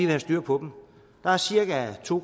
have styr på dem der er cirka to